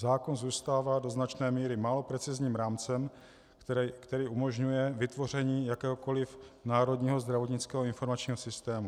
Zákon zůstává do značné míry málo precizním rámcem, který umožňuje vytvoření jakéhokoliv národního zdravotnického informačního systému.